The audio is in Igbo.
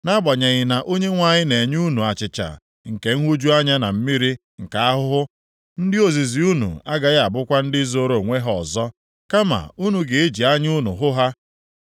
Nʼagbanyeghị na Onyenwe anyị na-enye unu achịcha nke nhụju anya na mmiri nke ahụhụ, ndị ozizi unu agaghị abụkwa ndị zoro onwe ha ọzọ, kama unu ga-eji anya unu hụ ha.